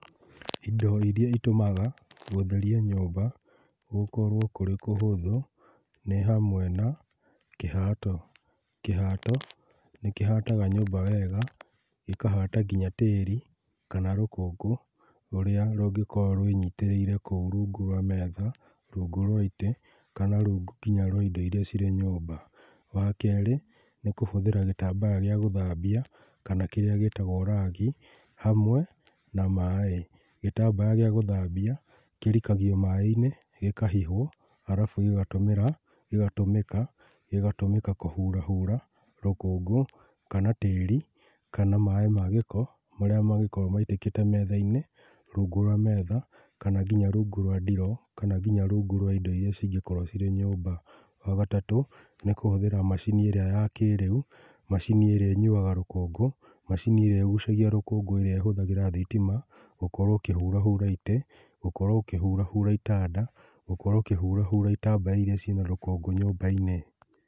Indo iria itũmaga gũtheria nyũmba gũkorwo kũrĩ kũhũthũ nĩ hamwe na kĩhato. Kĩhato nĩ kĩhataga nyũmba wega, gĩkahata nginya tĩri kana rũkũngũ rũrĩa rũngĩkorwo rwĩnyitĩrĩire kũu rungu rwa metha, rungu rwa itĩ kana rungu kinya rwa indo iria ciri nyũmba. Wakerĩ nĩ kũhũthĩra gĩtambaya gĩa gũthambia kana kĩrĩa gĩtagwo ragi hamwe na maaĩ. Gĩtambaya gĩa gũthambia kĩrikagio maaĩ-inĩ, gĩkahihwo arabu gĩgatũmĩra, gĩgatũmĩka, gĩgatũmĩka kũhurahura rũkũngũ, kana tĩri kana maaĩ m gĩko marĩa mangĩkoo maitĩkĩte metha-inĩ, rungu rwa metha kana nginya rungu rwa ndiroo, kana nginya rungu rwa indo iria cingĩkorwo cirĩ nyũmba. Wagatatũ nĩ kũhũthĩra macini ĩrĩa ya kĩĩrĩu, macini ĩrĩa ĩnyuaga rũkũngũ, macini ĩrĩa ĩgucagia rũkũngũ ĩrĩa ĩhũthagĩra thitima gũkorwo ũkĩhurahura itĩ, gũkorwo ũkĩhurahura itanda, gũkorwo ũkĩhurahura itambaya iria ciina rũkũngũ nyũmba-inĩ.